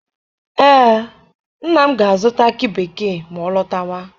Ee, nna m ga-azụta akị bekee ma ọ lọtawa.